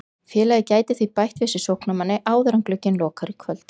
Félagið gæti því bætt við sig sóknarmanni áður en glugginn lokar í kvöld.